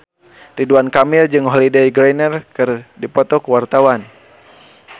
Ridwan Kamil jeung Holliday Grainger keur dipoto ku wartawan